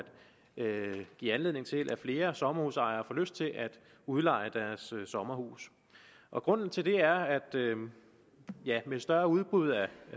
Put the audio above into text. give anledning til at flere sommerhusejere får lyst til at udleje deres sommerhus og grunden til det er at med et større udbud af